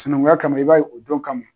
Sinankunya kama i b'a ye o don kama